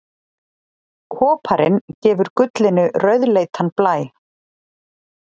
koparinn gefur gullinu rauðleitan blæ